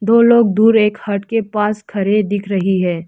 दो लोग दूर एक हट के पास खड़े दिख रही है।